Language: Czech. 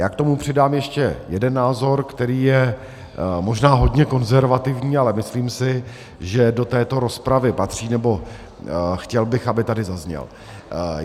Já k tomu přidám ještě jeden názor, který je možná hodně konzervativní, ale myslím si, že do této rozpravy patří, nebo chtěl bych, aby tady zazněl.